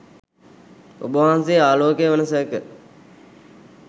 ඔබවහන්සේ ආලෝකය වන සේක.